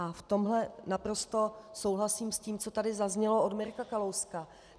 A v tomhle naprosto souhlasím s tím, co tady zaznělo od Mirka Kalouska.